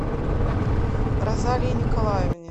розалии николаевне